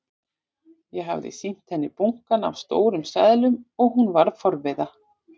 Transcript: Ég hafði sýnt henni bunkann af stórum seðlum og hún varð forviða.